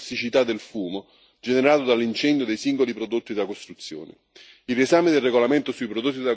Va assicurata la trasparenza del livello di tossicità del fumo generato dall'incendio dei singoli prodotti da costruzione.